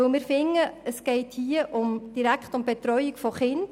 Erstens finden wir, es gehe bei den Anträgen direkt um die Betreuung von Kindern.